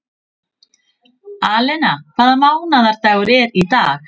Alena, hvaða mánaðardagur er í dag?